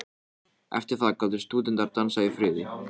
Eftir það gátu stúdentar dansað í friði.